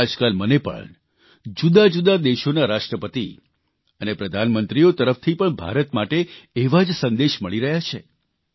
આજકાલ મને પણ જુદાજુદા દેશોના રાષ્ટ્રપતિ અને પ્રધાનમંત્રીઓ તરફથી પણ ભારત માટે એવા જ સંદેશા મળી રહ્યા છે